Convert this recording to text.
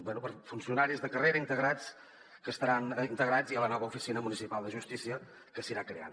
bé per funcionaris de carrera que estaran integrats ja a la nova oficina municipal de justícia que s’anirà creant